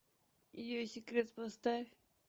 ее секрет поставь